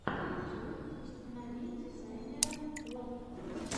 ютьюб установи дизайнера лод